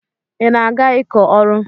Ị na-aga ịkọ ọrụ?